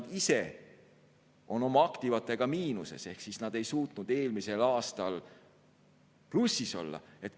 Nad ise on oma aktivatega miinuses ehk nad ei suutnud eelmisel aastal plussis olla.